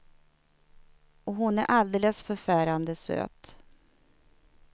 Och hon är alldeles förfärande söt.